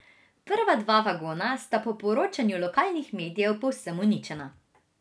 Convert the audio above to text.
Prva dva vagona sta po poročanju lokalnih medijev povsem uničena.